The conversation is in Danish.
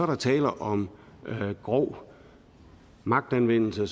der tale om grov magtanvendelse